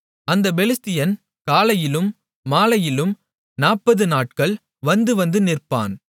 அந்தப் பெலிஸ்தியன் காலையிலும் மாலையிலும் 40 நாட்கள் வந்துவந்து நிற்பான்